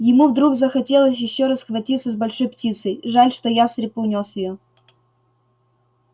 ему вдруг захотелось ещё раз схватиться с большой птицей жаль что ястреб унёс её